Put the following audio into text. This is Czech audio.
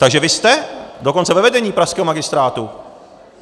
Takže vy jste dokonce ve vedení pražského magistrátu.